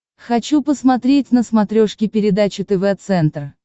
хочу посмотреть на смотрешке передачу тв центр